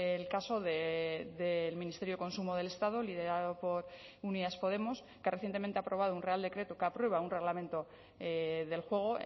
el caso del ministerio de consumo del estado liderado por unidas podemos que recientemente ha aprobado un real decreto que aprueba un reglamento del juego